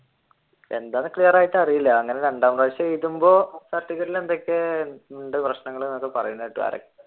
എന്താന്ന് clear ആയിട്ട് അറിയൂല രണ്ടാം പ്രാവിശ്യം എഴുതുമ്പോൾ certificate ഇൽ എന്തൊക്കെ ഉണ്ട് പ്രശ്നങ്ങൾ